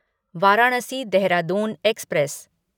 Varanasi Dehradun express